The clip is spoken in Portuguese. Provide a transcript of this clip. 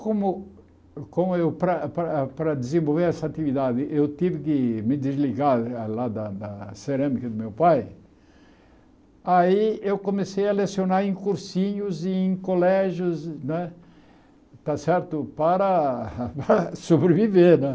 Como como eu para para para desenvolver essa atividade eu tive que me desligar lá da da cerâmica do meu pai, aí eu comecei a lecionar em cursinhos e em colégios né está certo para sobreviver né.